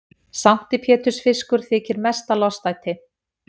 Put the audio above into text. Sankti pétursfiskur þykir mesta lostæti.